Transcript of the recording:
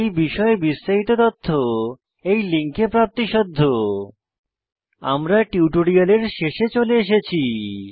এই বিষয়ে বিস্তারিত তথ্য এই লিঙ্কে প্রাপ্তিসাধ্য httpspoken tutorialorgNMEICT Intro আমরা টিউটোরিয়ালের শেষে চলে এসেছি